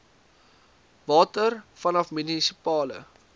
water vanaf munisipale